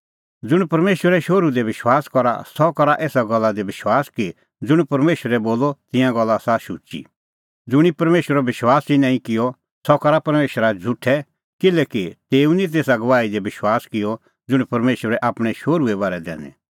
ज़ुंण परमेशरे शोहरू दी विश्वास करा सह करा एसा गल्ला दी विश्वास कि ज़ुंण परमेशरै बोलअ तिंयां गल्ला आसा शुची ज़ुंणी परमेशरो विश्वास ई नांईं किअ सह करा परमेशरा झ़ुठै किल्हैकि तेऊ निं तेसा गवाही दी विश्वास किअ ज़ुंण परमेशरै आपणैं शोहरूए बारै दैनी